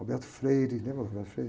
lembra do?